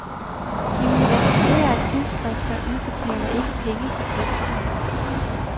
De universitære tidsskrifter udbetaler ikke penge for teksten.